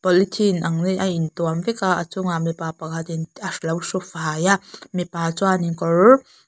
polythene ang in ain tuam vek a a chung ah mipa pakhat in alo hru fai a mipa chuan in kawr --